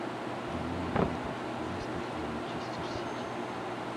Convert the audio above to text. прямой эфир лестер и манчестер сити